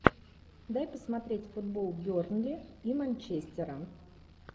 дай посмотреть футбол бернли и манчестера